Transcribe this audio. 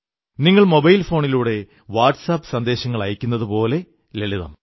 നിങ്ങൾ മൊബൈൽ ഫോണിലൂടെ WhatsApp സന്ദേശങ്ങളയയ്ക്കുന്നതുപോലെതന്നെ ലളിതം